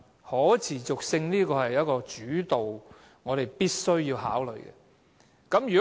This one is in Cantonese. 可持續性是一個主導因素，我們必須考慮。